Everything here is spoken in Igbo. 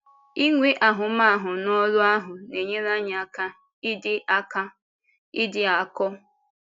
Inwe ahụmahụ n’ọ́rụ ahụ na-enyere anyị aka ịdị aka ịdị akọ.